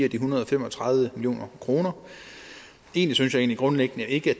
en hundrede og fem og tredive million kroner egentlig synes jeg grundlæggende ikke